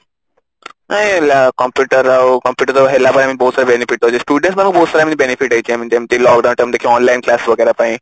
ନାଇଁ computer ଆଉ computer ତ ହେଲା ପାଇଁ ଆମକୁ ବହୁତ ସାରା benefit ରହୁଛି students ମାନଙ୍କୁ ବହୁତ ସାରା benefit ହେଇଛି I mean ଆମେ ଯେମତି lockdown time ରେ ଦେଖିବା online class ବଗେରା ପାଇଁ